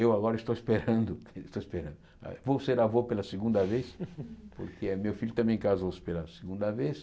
Eu agora estou esperando estou esperando, vou ser avô pela segunda vez, porque meu filho também casou-se pela segunda vez.